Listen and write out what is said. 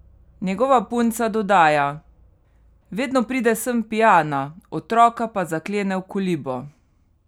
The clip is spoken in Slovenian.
Njegova punca dodaja: 'Vedno pride sem pijana, otroka pa zaklene v kolibo.